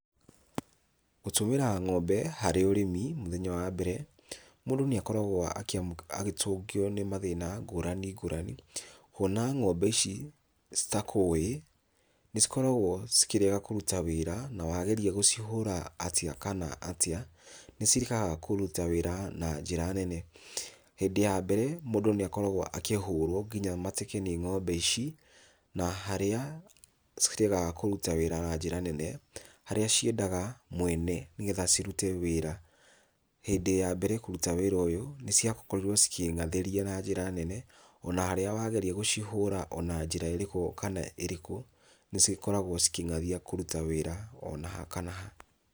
Gũtũmĩra ng'ombe harĩ ũrĩmi mũthenya wa mbere, mũndũ nĩakoragwo agĩtũngio nĩ mathĩna ngũrani ngũrani, kuona ng'ombe ici citakũĩ, nĩcikoragwo cikĩrega kũruta wĩra, na wageria gũcihũra atĩa kana atĩa nĩciregaga kũruta wĩra na njĩra nene. Hĩndĩ ya mbere mũndũ nĩakoragwo akĩhũrwo nginya mateke nĩ ng'ombe ici, na harĩa ciregaga kũruta wĩra na njĩra nene, harĩa ciendaga mwene, nĩgetha cirute wĩra. Hindĩ ya mbere kũruta wĩra ũyũ, nĩciakorirwo cikĩng'athĩria na njĩra nene, ona harĩa wageria gũcihũra o na njĩra ĩrĩkũ kana ĩrĩkũ, nĩcikoragwo cikĩng'athia kũruta wĩra o na ha kana ha.